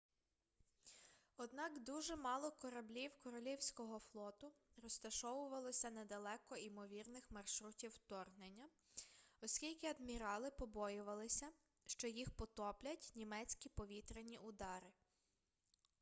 однак дуже мало кораблів королівського флоту розташовувалося недалеко імовірних маршрутів вторгнення оскільки адмірали побоювалися що їх потоплять німецькі повітряні удари